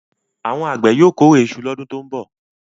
Àwọn àgbẹ̀ yóò kórè iṣu lọ́dún tó ń bọ̀.